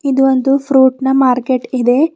ಇದು ಒಂದು ಫ್ರೂಟ್ ನ ಮಾರ್ಕೆಟ್ ಇದೆ.